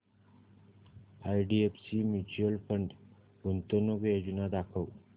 IDFC mutual fund गुंतवणूक योजना दाखव